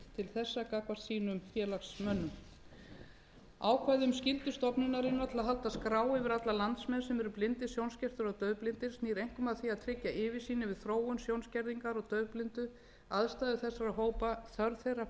þessa gagnvart sínum félagsmönnum ákvæði um skyldu stofnunarinnar til að halda skrá yfir alla landsmenn sem eru blindir sjónskertir og daufblindir snýst einkum að því að tryggja yfirsýn yfir þróun sjónskerðingar og daufblindu aðstæður þessara hópa þörf þeirra fyrir